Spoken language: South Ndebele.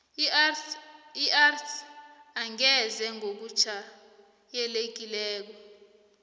isars angeze ngokujayelekileko